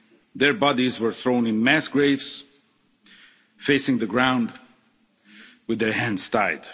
Their bodies were thrown in mass graves, facing the ground, with their hands tied.